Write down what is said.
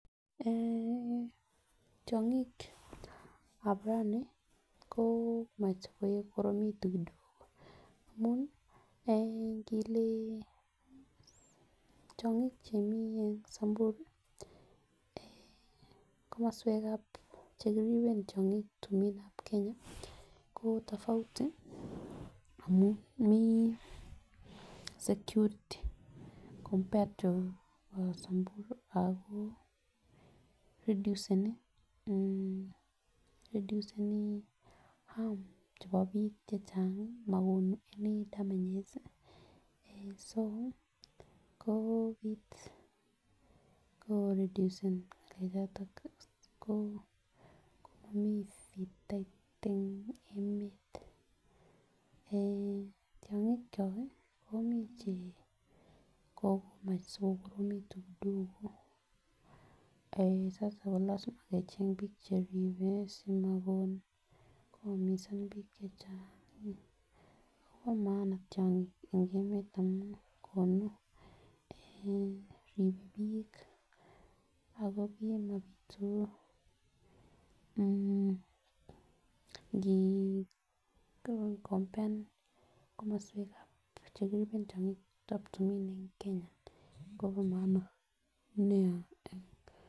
Eeh tyongikab rani ko komach kokoromitun kidogo amun eeh ndile tyongik chemii en samburu komoswekab chekiriben tyongik timin ab Keny ko tofauti amun mii security compared Ako reduseni harm chebo bik chechang mokonu any damages so ko kit koredusen ngalek choton ko komomii fitait en emet. Tyongik tyok komii chekomach sikokoromekitun kidogo eeh sasa ko lasima kecheng bik cheribe simokon koyumisan bik chechang Kobo maana tyongik en emet amun konu ribe bik ak kimopitu mmh ngi compared ak komoswekab komoswek chekiriben tyongikab timin en Kenya Kobo maana nia.